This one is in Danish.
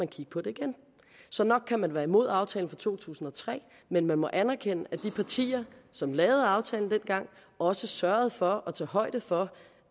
kigge på det igen så nok kan man være imod aftalen fra to tusind og tre men man må anerkende at de partier som lavede aftalen dengang også sørgede for at tage højde for